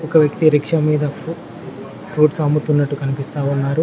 ఒక వ్యక్తి రిక్షా మీద ఫ్రు ఫ్రూట్స్ అమ్ముతున్నట్టు కనిపిస్తా ఉన్నారు.